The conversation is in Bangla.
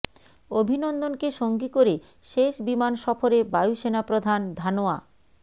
অভিনন্দনকে সঙ্গী করে শেষ বিমান সফরে বায়ু সেনা প্রধান ধানোয়া